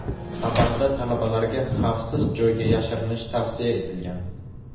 Xabarda talabalarga xavfsiz joyga yashirinish tavsiya etilgan.